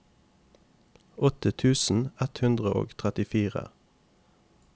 åttien tusen ett hundre og trettifire